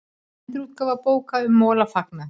Endurútgáfu bóka um Mola fagnað